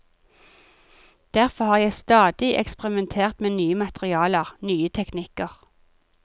Derfor har jeg stadig eksperimentert med nye materialer, nye teknikker.